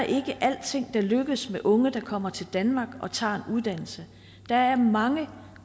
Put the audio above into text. ikke alting der lykkes med unge der kommer til danmark og tager uddannelse der er mange